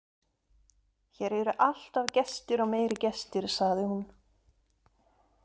Hér eru alltaf gestir og meiri gestir, sagði hún.